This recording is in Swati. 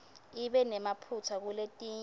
ibe nemaphutsa kuletinye